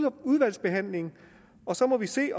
udvalgsbehandling og så må vi se